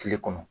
Kile kɔnɔ